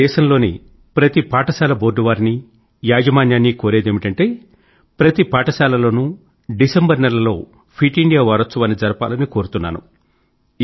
నేను దేశం లోని ప్రతి పాఠశాల బోర్డు వారినీ యాజమాన్యాన్నీ కోరేదేమిటంటే ప్రతి పాఠశాల లోనూ డిసెంబర్ నెలలో ఫిట్ ఇండియా వారోత్సవాన్ని జరపాలని కోరుతున్నాను